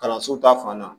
Kalanso ta fan na